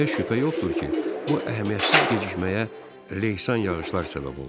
Heç şübhə yoxdur ki, bu əhəmiyyətsiz gecikməyə leysan yağışlar səbəb oldu.